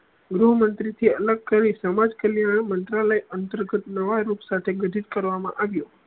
ગૃહમંત્રી થી અલગ કરી સમાજ કલ્યાણ મંત્રલાય અંતર્ગત નવા રોજગાર થી વિધિત કરવામાં મા આવ્યો